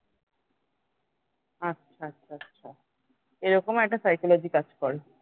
আচ্ছা আচ্ছা আচ্ছা আচ্ছা এরকম একটা psychology কাজ করে